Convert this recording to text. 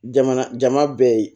Jama jama bɛɛ ye